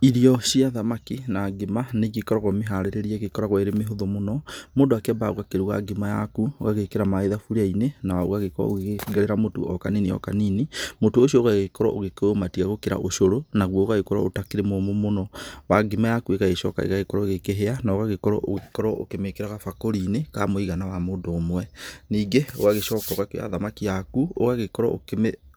Irio cia thamaki na ngima nĩ igĩkoragwo mĩharĩrĩrie ĩgĩkoragwo ĩrĩ mĩhũthũ mũno. Mũndũ akĩambaga ũgakĩruga ngima yaku ũgagĩkĩra maaĩ thaburia-inĩ na ũgagĩkorwo ũgĩkĩongerera mũtu o kanini o kanini. Mũtu ũcio ũgagĩkorwo ũgĩkĩũmatia gũkĩra ũcũrũ, naguo ũgagĩkorwo ũtakĩrĩ mũmũ mũno. Na ngima yaku ĩgagĩcoka ĩgagĩkorwo ĩkĩhĩa na ũgagĩkorwo ũgĩkorwo ũkĩmĩkĩra gabakũri-inĩ ka mũigana wa mũndũ ũmwe. Ningĩ ũgagĩcoka ũgakĩoya thamaki yaku ũgagĩkorwo